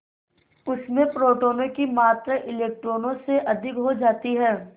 उसमें प्रोटोनों की मात्रा इलेक्ट्रॉनों से अधिक हो जाती है